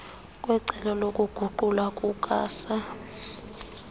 kwecebo lokuguqulwa kukasaa